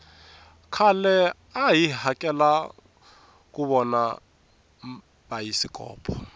khale a hi hakela kuvona bayisikpo